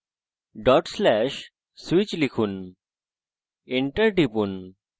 /switch লিখুন enter টিপুন